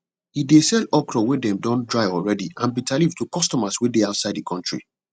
he de sell okra wey dem don dry already and bitterleaf to customers wey dey outside the country